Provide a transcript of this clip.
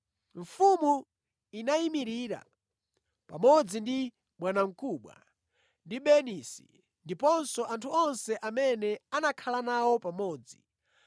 Mfumu inayimirira pamodzi ndi bwanamkubwa ndi Bernisi ndiponso anthu onse amene anakhala nawo pamodzi.